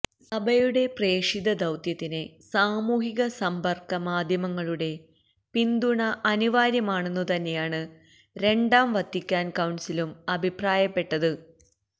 സഭയുടെ പ്രേഷിത ദൌത്യത്തിന് സാമൂഹിക സമ്പർക്കമാധ്യമങ്ങളുടെ പിന്തുണ അനിവാര്യമാണെന്നുതന്നെയാണ് രണ്ടാം വത്തിക്കാൻ കൌൺസിലും അഭിപ്രായപ്പെട്ടത്